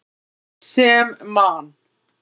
Sem Man.